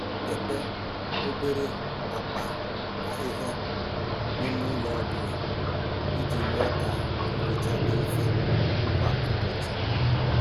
Debe obere akpa ahịhịa n'ime ụlọ ọ bụla iji mee ka nhicha dị mfe kwa ụbọchị.